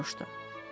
Soruşdu.